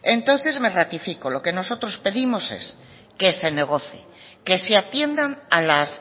entonces me ratifico lo que nosotros pedimos es que se negocie que se atiendan a las